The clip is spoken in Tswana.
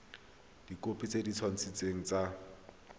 dikhopi tse di kanisitsweng tsa